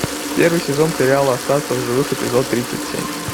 первый сезон сериала остаться в живых эпизод тридцать семь